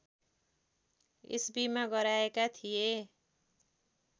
इस्वीमा गराएका थिए